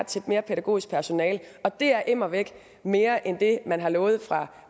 til mere pædagogisk personale og det er immervæk mere end det man har lovet fra